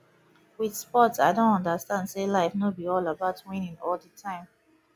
with sport i don understand sey life no be all about winning all the time